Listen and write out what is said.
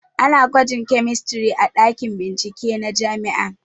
Ana gwajin kemistri a ɗakin bincike na jami'a